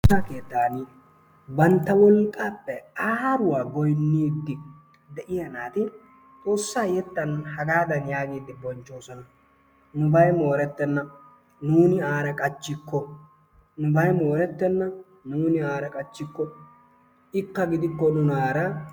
Xoossa keettan bantta wolqqappe aaruwa goynnidi de'iyaa naati Xoossa yettan hagadan yaaggidi bonchchoosona, nubay moorettena, nuuni aara qachchikko, nubay moorettena nuuni aara qachchikko, ikka gidikko nunaara.